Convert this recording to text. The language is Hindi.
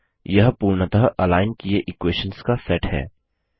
अतः यह पूर्णतः अलाइन किए इक्वेशंस का सेट है